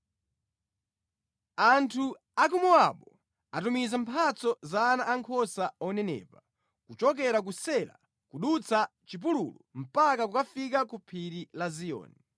Anthu a ku Mowabu atumiza mphatso za ana ankhosa onenepa, kuchokera ku Sela kudutsa chipululu mpaka kukafika ku phiri la Ziyoni.